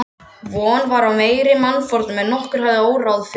Von var á meiri mannfórnum en nokkurn hafði órað fyrir.